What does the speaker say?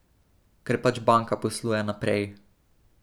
Ker pač banka posluje naprej.